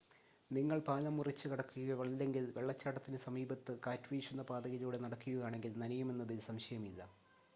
നിങ്ങൾ പാലം മുറിച്ച് കടക്കുകയോ അല്ലെങ്കിൽ വെള്ളച്ചാട്ടത്തിന് സമീപത്ത് കാറ്റുവീശുന്ന പാതയിലൂടെ നടക്കുകയോ ആണെങ്കിൽ നനയുമെന്നതിൽ സംശയമില്ല